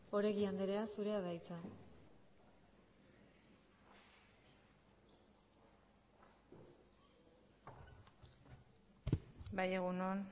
oregi andrea zurea da hitza bai egun on